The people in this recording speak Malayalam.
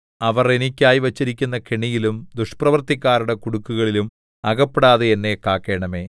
അവർ എനിക്കായി വച്ചിരിക്കുന്ന കെണിയിലും ദുഷ്പ്രവൃത്തിക്കാരുടെ കുടുക്കുകളിലും അകപ്പെടാതെ എന്നെ കാക്കണമേ